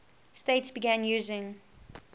states began using